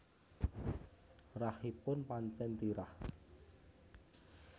Rahipun pancen tirah